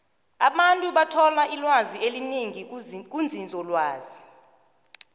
abantu bathola ilwazi elinengi kunzinzolwazi